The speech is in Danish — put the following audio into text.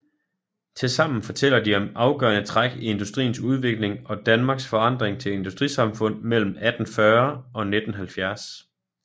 Tilsammen fortæller de om afgørende træk i industriens udvikling og Danmarks forandring til industrisamfund mellem 1840 og 1970